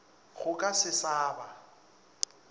go ka se sa ba